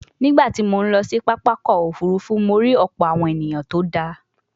Nígbà tí mo ń lọ sí pápákọ̀ òfuurufú, mo rí ọ̀pọ̀ awon eniyan tó dáa